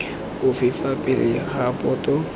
ofe fa pele ga boto